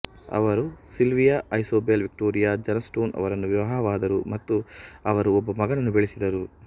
ಅವರು Sylvia Isobel Victoria Johnstone ಅವರನ್ನು ವಿವಾಹವಾದರು ಮತ್ತು ಅವರು ಒಬ್ಬ ಮಗನನ್ನು ಬೆಳೆಸಿದರು